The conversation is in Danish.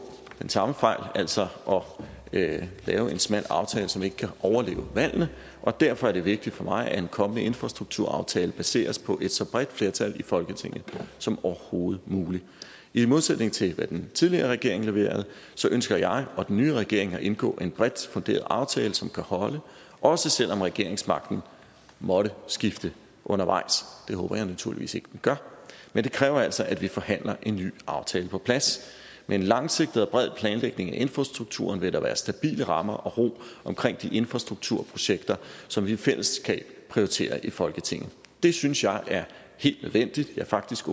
den samme fejl altså at lave en smal aftale som ikke kan overleve valgene og derfor er det vigtigt for mig at en kommende infrastrukturaftale baseres på et så bredt flertal i folketinget som overhovedet muligt i modsætning til hvad den tidligere regering leverede ønsker jeg og den nye regering at indgå en bredt funderet aftale som kan holde også selv om regeringsmagten måtte skifte undervejs det håber jeg naturligvis ikke den gør men det kræver altså at vi forhandler en ny aftale på plads med en langsigtet og bred planlægning af infrastrukturen vil der være stabile rammer og ro omkring de infrastrukturprojekter som vi i fællesskab prioriterer i folketinget det synes jeg er helt nødvendigt ja faktisk